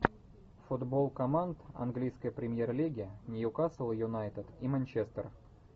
футбол команд английской премьер лиги ньюкасл юнайтед и манчестер